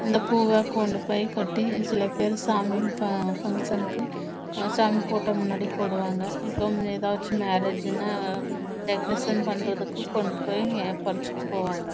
இந்த பூவை கட்டி சாமி போட்டோ முன்னாடி போடுவாங்க ஏதாச்சு மாற்றியகே உஹ் ந தேகாரோட்டின் பண்றதுக்கு பிறரிச்சிட்டு கொண்டு போவாங்க